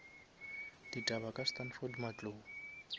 ditaba ka standford matlou